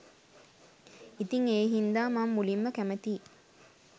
ඉතිං ඒ හින්දා මං මුලින්ම කැමතියි